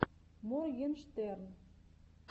моргенштерн